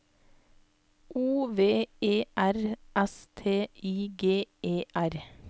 O V E R S T I G E R